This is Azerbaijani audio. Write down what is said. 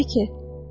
Nədir ki?